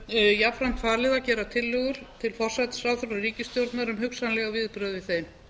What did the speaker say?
var starfshópnum jafnframt falið að gera tillögur til forsætisráðherra og ríkisstjórnar um hugsanleg viðbrögð við þeim